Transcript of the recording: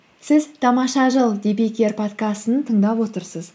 сіз тамаша жыл подкастын тыңдап отырсыз